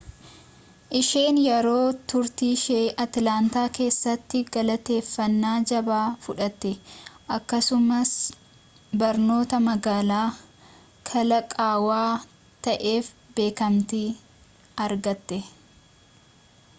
isheen yeroo turtiishee atilaantaa keessaatti galateeffannaa jabaa fudhatte akkasumas barnoota magaalaa kalaqaawaa ta'eef beekamtii argatte